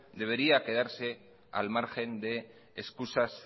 debería quedarse al margen de excusas